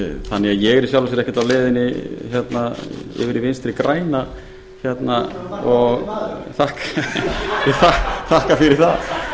þannig að ég er í sjálfu sér ekkert á leiðinni yfir í vinstri græna og þakka fyrir það